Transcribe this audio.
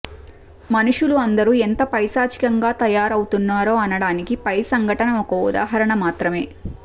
మనుషులు అందరూ ఎంత పైశాచికంగా తయారవుతున్నారో అనడానికి పై సంఘటన ఒక ఉదాహరణ మాత్రమే